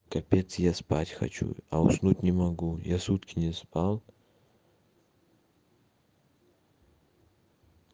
капец я спать хочу а уснуть не могу я сутки не спал